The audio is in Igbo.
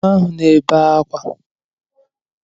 Kụrụ nwa ahụ na-ebe akwa!